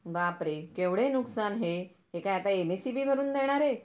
बापरे केवढे नुकसान हे हे काय आता एमएससीबी भरून देणार आहे.